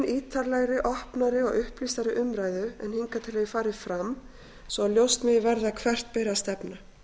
ítarlegri opnari og upplýstari umræðu en hingað til hefur farið fram svo að ljóst megi verða hvert beri að stefna